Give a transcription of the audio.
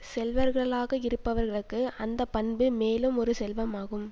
செல்வர்களாக இருப்பவர்களுக்கு அந்த பண்பு மேலும் ஒரு செல்வமாகும்